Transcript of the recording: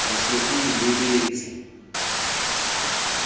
o se o e lebetse